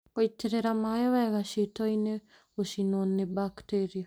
Gũitĩrĩria maĩ wega ciitoinĩ Gũcinwo nĩ bakteria